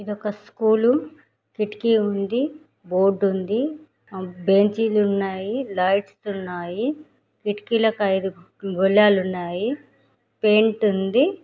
ఇది ఒక స్కూల్ కిటికీ ఉంది బోర్డుంది బెంచి లున్నాయి లైట్స్ ఉన్నాయి కిటకిలకు ఇదు గోల్లాలు వున్నాయి పెయింట్ ఉంది.